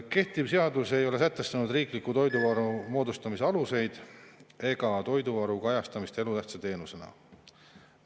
Kehtiv seadus ei ole sätestanud riikliku toiduvaru moodustamise aluseid ega toiduvaru kajastamist elutähtsa teenusena.